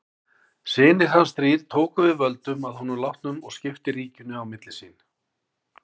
Synir hans þrír tóku við völdum að honum látnum og skiptu ríkinu milli sín.